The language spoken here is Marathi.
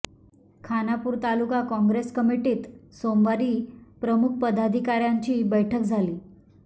खानापूर तालुका काँग्रेस कमिटीत सोमवारी प्रमुख पदाधिकाऱयांची बैठक झाली